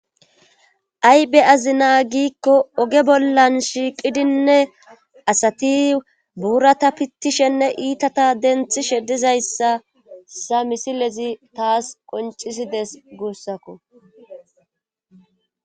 aybe azina giikko oge bollan shiiqidinne asati buurata pittishenne iitata denthi shedizayssa sa misilezi taas qoncisides guussakko